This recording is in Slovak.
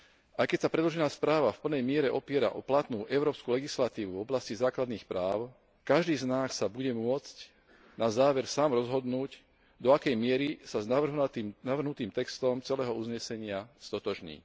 Aj keď sa predložená správa v plnej miere opiera o platnú európsku legislatívu v oblasti základných práv, každý z nás sa bude môcť na záver sám rozhodnúť, do akej miery sa s navrhnutým textom celého uznesenia stotožní.